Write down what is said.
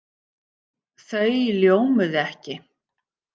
Þau ljómuðu ekki.